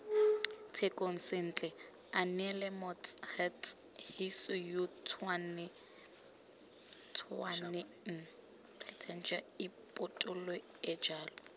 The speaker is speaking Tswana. tshekong sentle aneelemots huts hisiyootshwanetsengripotoeejalo